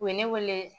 U ye ne wele